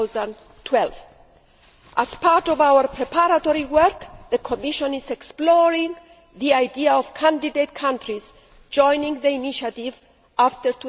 of 2012. As part of our preparatory work, the Commission is exploring the idea of candidate countries joining the initiative after